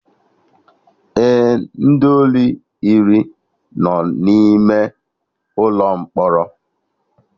Ee, ndị ori iri no n'ime ụlọ mkpọrọ